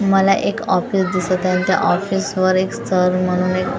मला एक ऑफिस दिसत आहे त्या ऑफिस वर एक स्तर म्हणून एक--